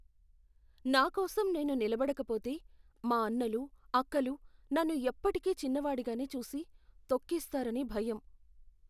నా కోసం నేను నిలబడకపోతే, మా అన్నలు, అక్కలు నన్ను ఎప్పుటికీ చిన్నవాడిగానే చూసి, తొక్కేస్తారని భయం.